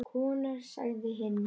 Konur sagði hinn.